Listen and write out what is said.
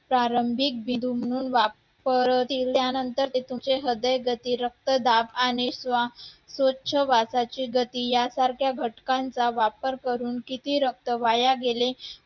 रक्तदाब आणि श्वासाची गती यासारख्या घटकांचा वापर करून किती रक्त वाया गेले